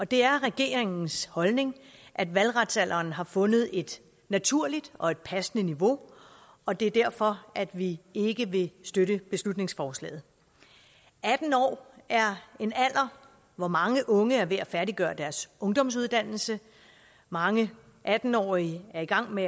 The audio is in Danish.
det er regeringens holdning at valgretsalderen har fundet et naturligt og et passende niveau og det er derfor at vi ikke vil støtte beslutningsforslaget atten år er en alder hvor mange unge er ved at færdiggøre deres ungdomsuddannelse mange atten årige er i gang med